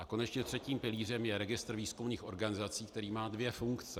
A konečně třetím pilířem je registr výzkumných organizací, který má dvě funkce.